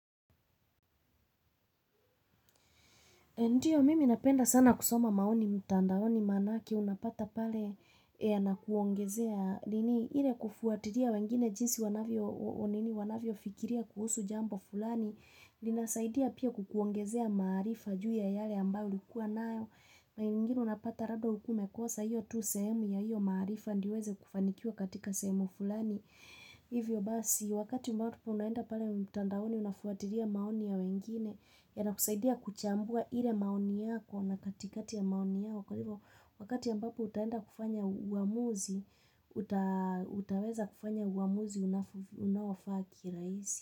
Ndiyo mimi napenda sana kusoma maoni mtandaoni manake unapata pale na kuongezea lini hile kufuatiria wengine jinsi wanavyo nini wanavyo fikiria kuhusu jambo fulani linasaidia pia kukuongezea maarifa juu ya yale ambao likuwa nayo maingini unapata rado ukume kosa hiyo tu semu ya hiyo maarifa ndio uweze kufanikiwa katika semu fulani. Hivyo basi, wakati mbapu unaenda pale mtandaoni unafuatiria maoni ya wengine, ya nakusaidia kuchambua hile maoni yako na katikati ya maoni yako, kwa hivyo wakati ya mbapu utaenda kufanya uamuzi, utaweza kufanya uamuzi unawafaa kiraisi.